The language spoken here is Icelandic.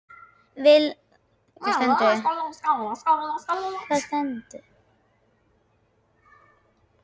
Vilfríður, spilaðu lag.